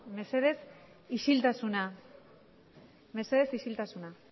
mesedez isiltasuna